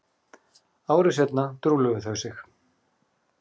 Ári seinna trúlofuðu þau sig